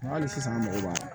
Nka hali sisan an mago b'a la